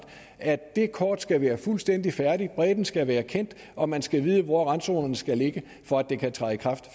at det kort skal være fuldstændig færdigt bredden skal være kendt og man skal vide hvor randzonerne skal ligge for at det kan træde i kraft